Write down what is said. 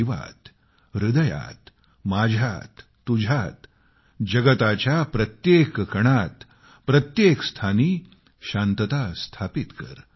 जीवात हृदयात माझ्यात तुझ्यात जगताच्या प्रत्येक कणात प्रत्येक स्थानी शांतता स्थापित कर